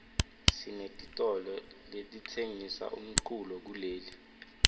sinetitolo letitsengisa umculo kuleli